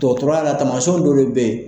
Dɔgɔtɔrɔya la tamasiɲɛnw dɔ de be yen